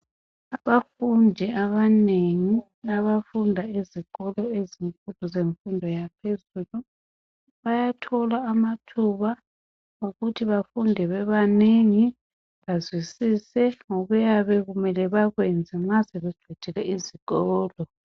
Abafundi abanengi abafunda ezikolo ezemfundo yaphezulu bayathola amathuba okuthi befunde bebanengi bazwisise ngokuyabe kumele bakwenze nxa sebeqede ezikolo.